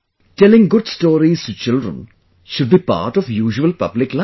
Telling good stories to children should be a part of public life